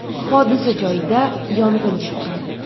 Hodisa joyida yong‘in chiqqan.